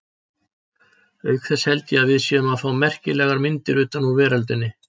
Auk þess held ég að við séum að fá merkilegar myndir utan úr veröldinni.